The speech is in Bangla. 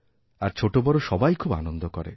আর ছোটবড় সবাই খুব আনন্দ করে